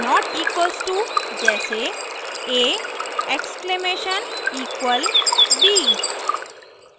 != not equals to जैसे a exclamation exclamation equal b